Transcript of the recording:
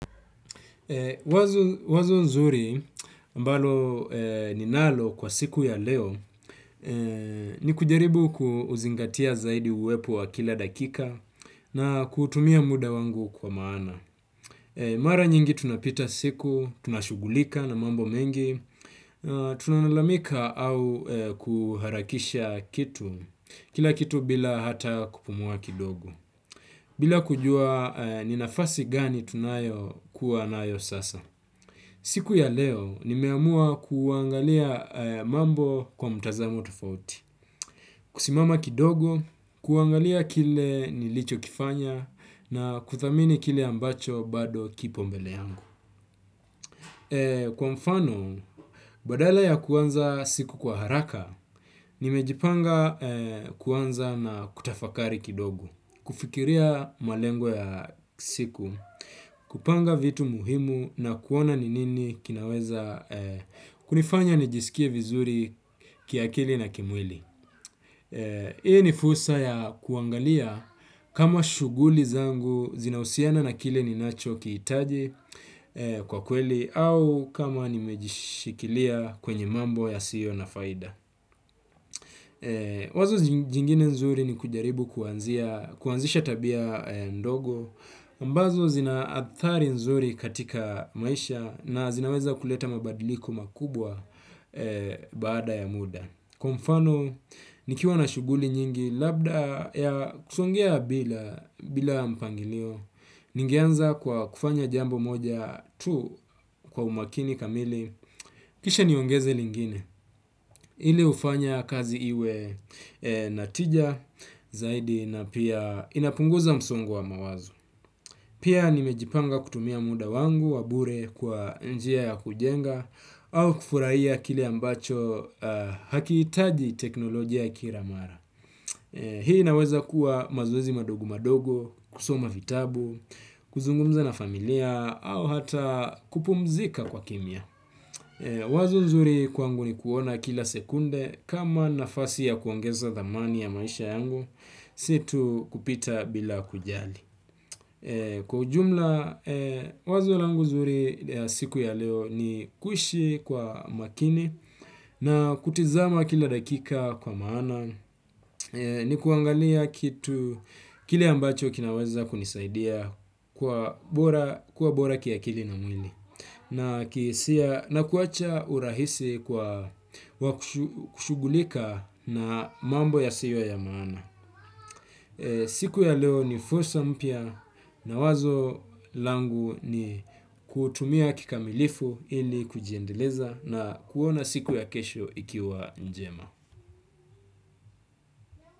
Wazo nzuri ambalo ninalo kwa siku ya leo ni kujaribu kuzingatia zaidi uwepo wa kila dakika na kutumia muda wangu kwa maana. Mara nyingi tunapita siku tunashugulika na mambo mengi tunalalamika au kuharakisha kitu kila kitu bila hata kupumua kidogi. Bila kujua ni nafasi gani tunayo kuwa nayo sasa. Siku ya leo, nimeamua kuangalia mambo kwa mtazamo tofauti. Kusimama kidogo, kuangalia kile nilicho kifanya na kuthamini kile ambacho bado kipombele yangu. Kwa mfano, badala ya kuanza siku kwa haraka, nimejipanga kuanza na kutafakari kidogo. Kufikiria malengo ya siku, kupanga vitu muhimu na kuona ni nini kinaweza kunifanya nijisikie vizuri kiakili na kimwili. I ni fursa ya kuangalia kama shuguli zangu zinausiana na kile ninacho kiitaji kwa kweli au kama nimejishikilia kwenye mambo yasiyo na faida. Wazo jingine nzuri ni kujaribu kuanzisha tabia ndogo ambazo zina athari nzuri katika maisha na zinaweza kuleta mabadiliko makubwa baada ya muda. Kwa mfano, nikiwa na shuguli nyingi labda ya kusongea bila mpangilio. Ningeanza kwa kufanya jambo moja tu kwa umakini kamili. Kisha niongeze lingine. Ile ufanya kazi iwe na tija zaidi na pia inapunguza msongo wa mawazo. Pia nimejipanga kutumia muda wangu wa bure kwa njia ya kujenga au kufurahia kile ambacho hakiitaji teknolojia kira mara. Hii inaweza kuwa mazoezi madogo madogo, kusoma vitabu, kuzungumza na familia, au hata kupumzika kwa kimia. Wazo nzuri kwangu ni kuona kila sekunde kama nafasi ya kuongeza dhamani ya maisha yangu, si tu kupita bila kujali. Kwa ujumla, wazo langu zuri ya siku ya leo ni kuishi kwa makini na kutizama kila dakika kwa maana, ni kuangalia kitu kile ambacho kinaweza kunisaidia kwa bora ki akili na mwili, na kuwacha urahisi kwa kushugulika na mambo yasiyo ya maana. Siku ya leo ni fursa mpya na wazo langu ni kutumia kikamilifu ili kujiendeleza na kuona siku ya kesho ikiwa njema.